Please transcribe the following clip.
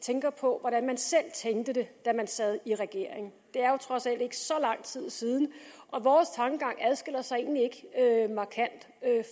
tænker på hvordan man selv tænkte det da man sad i regering det er jo trods alt ikke så lang tid siden og vores tankegang adskiller sig egentlig ikke markant